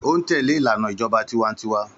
Ó ń tẹlé ìlànà ìjọba tiwańtiwa.